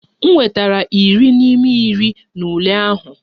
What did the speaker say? M nwetara iri n'ime iri n'ime ule ahụ.